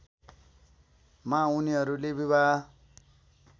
मा उनीहरूले विवाह